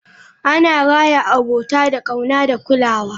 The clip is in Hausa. Ana raya abota da ƙauna da kulawa.